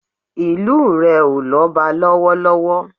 Ìlu rẹ̀ ò lọ́ba ní lọ́wọ́lọ́wọ́